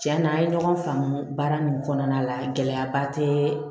Cɛn na an ye ɲɔgɔn faamu baara nin kɔnɔna la gɛlɛyaba tɛ